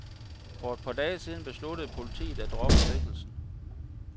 For et par dage siden besluttede politiet at droppe sigtelsen.